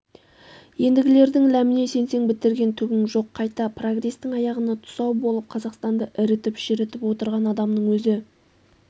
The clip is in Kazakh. ендгілердің ләміне сенсең бітірген түгің жоқ қайта прогрестің аяғына тұсау болып қазақстанды ірітіп-шірітіп отырған адамның өзі